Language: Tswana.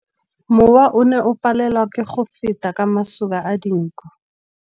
Mowa o ne o palelwa ke go feta ka masoba a dinko.